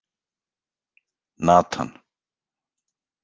Natan